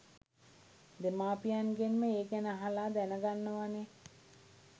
දෙමාපියන්ගෙන්ම ඒ ගැන අහලා දැන ගන්නවානේ